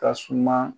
Ka suma